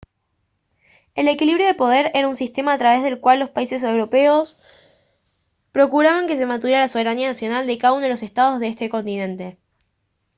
el equilibrio de poder era un sistema a través del cual los países europeos procuraban que se mantuviera la soberanía nacional de cada uno de los estados de ese continente